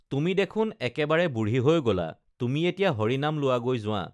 তুমি দেখুন একেবাৰে বুঢ়ী হৈ গলা তুমি এতিয়া হৰি নাম লোৱাগৈ যোৱা